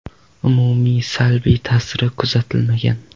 Umumiy salbiy ta’siri kuzatilmagan.